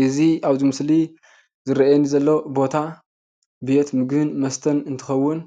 እዚ ኣብዚ ምስሊ ዝርአየኒ ዘሎ ቦታ ቤት ምግብን መስተን እንትኸውን